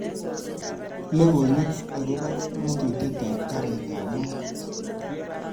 Logoywek agoba ngatutietab karitab maat